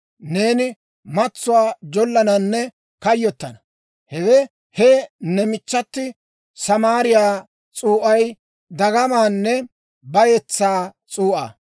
Neeni matsuwaa jollananne kayyotana. Hewe he ne michchati Samaariyaa s'uu'ay dagamaanne bayetsaa s'uu'aa.